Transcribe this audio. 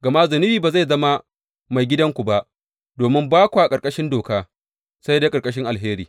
Gama zunubi ba zai zama maigidanku ba, domin ba kwa ƙarƙashin doka, sai dai ƙarƙashin alheri.